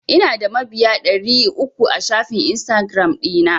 Ina da mabiya ɗari uku a shafin Instagiram ɗina.